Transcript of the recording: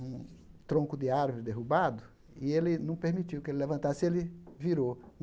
um tronco de árvore derrubado, e ele não permitiu que ele levantasse, ele virou.